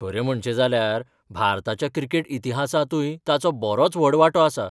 खरें म्हणचें जाल्यार, भारताच्या क्रिकेट इतिहासांतूय ताचो बरोच व्हड वांटो आसा.